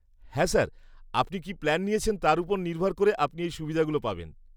হ্যাঁ স্যার, আপনি কি প্ল্যান নিয়েছেন, তার ওপর নির্ভর করে আপনি এই সুবিধেগুলো পাবেন।